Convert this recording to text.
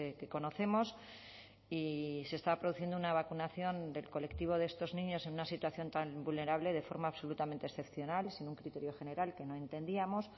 que conocemos y se está produciendo una vacunación del colectivo de estos niños en una situación tan vulnerable de forma absolutamente excepcional sin un criterio general que no entendíamos